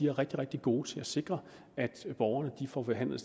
er rigtig rigtig gode til at sikre at borgerne får behandlet